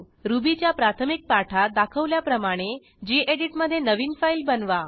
रुबीच्या प्राथमिक पाठात दाखवल्याप्रमाणे गेडीत मधे नवीन फाईल बनवा